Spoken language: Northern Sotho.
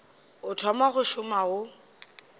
o thoma go šoma o